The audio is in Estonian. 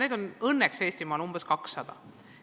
Aga õnneks on neid Eestimaal ainult umbes 200.